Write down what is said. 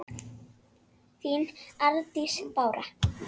þín Arndís Bára.